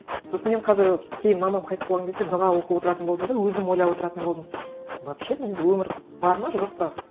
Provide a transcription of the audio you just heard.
сосын мен қазір кейін мамам қайтыс болған кезде дұға оқып отыратын болдым да өзім ойлап отыратын болдым вообще бұл өмір бар ма жоқ па